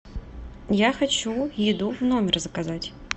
я хочу еду в номер заказать